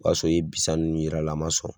U b'a sɔrɔ i ye bisan ninnu yira a la a man sɔn.